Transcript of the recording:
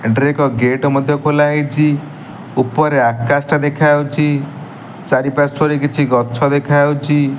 ଏଠାରେ ଏକ ଗେଟ୍ ମଧ୍ୟ ଖୋଲ ହୋଇଛି ଉପରେ ଆକାଶ ଦେଖା ଯାଉଛି ଚାରି ପାର୍ଶ୍ୱରେ ଗଛ ଦେଖା ଯାଉଛି।